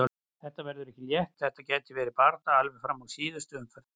Þetta verður ekki létt og þetta gæti verið barátta alveg fram í síðustu umferð.